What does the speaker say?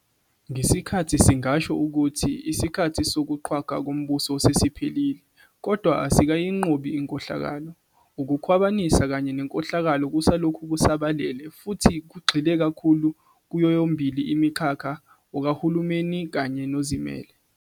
Ngesikhathi singasho ukuthi isikhathi sokuqhwagwa kombuso sesiphelile, kodwa asikayinqobi inkohlakalo. Ukukhwabanisa kanye nenkohlakalo kusalokhu kusabalele futhi kugxile kakhulu kuyoyomibili imikhakha okahulumeni kanye nozimele.